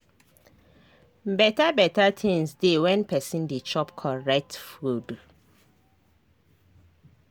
beta beta tinz dey when pesin dey chop correct food